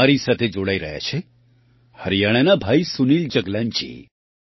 મારી સાથે જોડાઈ રહ્યા છે હરિયાણાના ભાઈ સુનિલ જગલાનજી